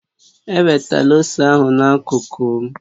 Ewetala ose ahụ na-akuku m